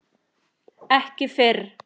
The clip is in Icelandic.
Ekki fyrr!